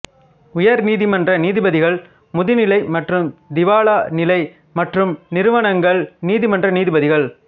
உயர் நீதிமன்ற நீதிபதிகள் முதுநிலை மற்றும் திவாலா நிலை மற்றும் நிறுவனங்கள் நீதிமன்ற நீதிபதிகள்